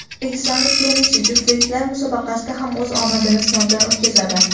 O‘zbekistonlik tennischi juftliklar musobaqasida ham o‘z omadini sinovdan o‘tkazadi.